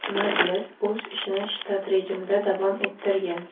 Majlis o‘z ishini shtat rejimida davom ettirgan.